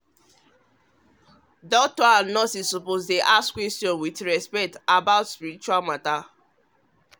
ah doctors and nurses suppose dey nurses suppose dey ask questions with respect about spiritual matter.